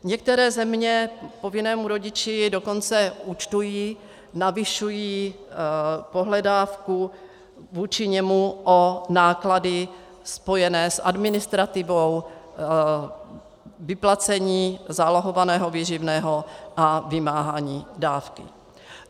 Některé země povinnému rodiči dokonce účtují, navyšují pohledávku vůči němu o náklady spojené s administrativou, vyplacením zálohovaného výživného a vymáháním dávky.